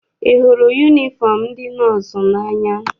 Ị hụrụ yunifọm ndị nọọsụ n'anya?